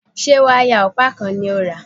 Ṣé wáyà ọ̀pá kan ni ó rà?